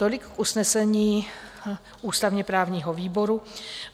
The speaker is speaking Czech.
Tolik k usnesení ústavně-právního výboru.